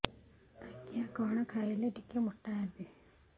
ଆଜ୍ଞା କଣ୍ ଖାଇଲେ ଟିକିଏ ମୋଟା ହେବି